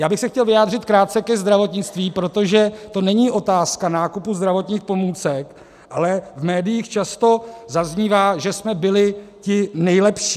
Já bych se chtěl vyjádřit krátce ke zdravotnictví, protože to není otázka nákupu zdravotních pomůcek, ale v médiích často zaznívá, že jsme byli ti nejlepší.